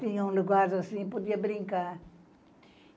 Tinha um lugar assim, podia brincar.